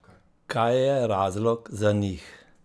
Kaj je razlog za njih?